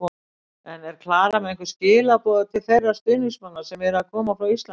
En er Klara með einhver skilaboð til þeirra stuðningsmanna sem eru að koma frá Íslandi?